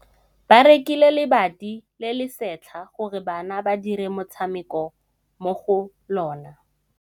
Ba rekile lebati le le setlha gore bana ba dire motshameko mo go lona.